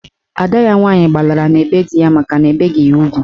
Ada ya nwaanyị gbalara na be di ya makana ebeghi ya ugwu.